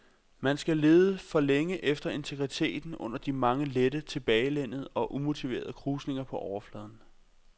Man skal lede for længe efter integriteten under de mange lette, tilbagelænede og umotiverede krusninger på overfladen.